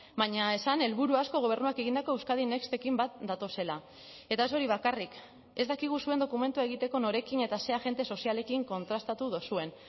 baina esan helburu asko gobernuak egindako euskadin nextekin bat datozela eta ez hori bakarrik ez dakigu zuen dokumentua egiteko norekin eta ze agente sozialekin kontrastatu duzuen